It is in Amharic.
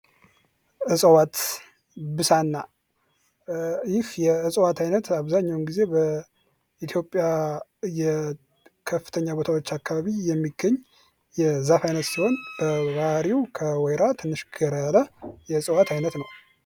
እጽዋት ብሳና ይህ የእጽዋት አይነት አብዛኛውን ጊዜ በኢትዮጵያ ከፍተኛ በታዎች አካባቢ የሚገኝዛፍ አይነት ሲሆን በባህሪው ከወይራ ትንሽ ገራ ያለ የእጽዋት አይነት ነው።